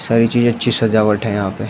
सारी चीज अच्छी सजावट है यहां पे।